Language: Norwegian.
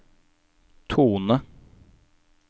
tone